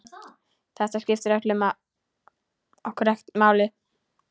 Þetta skiptir okkur ekkert máli.